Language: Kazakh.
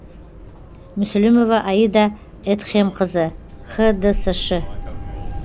мүсілімова аида эдхемқызы хдсш і